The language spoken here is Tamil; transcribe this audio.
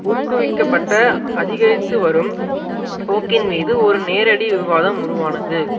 ஊக்குவிக்கப்பட்ட அதிகரித்து வரும் போக்கின் மீது ஒரு நேரடி விவாதம் உருவானது